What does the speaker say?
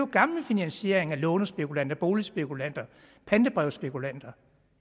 gamle finansieringer af lånespekulanter boligspekulanter pantebrevsspekulanter